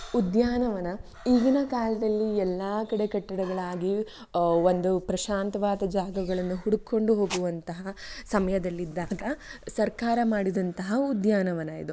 ಉದ್ಯಾನವನ ಈಗಿನ ಕಾಲದಲ್ಲಿ ಎಲ್ಲ ಕಡೆ ಕಟ್ಟಡಗಳಾಗಿ ಒಂದು ಪ್ರಶಾಂತವಾದ ಜಾಗಗಳನ್ನು ಹುಡಕೊಂಡು ಹೋಗುವಂತಹ ಸಮಯದಲ್ಲಿದ್ದಾಗ ಸರ್ಕಾರ ಮಾಡಿದಂತಹ ಉದ್ಯಾನವನ ಇದು